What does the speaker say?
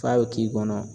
F'a bɛ k'i kɔnɔ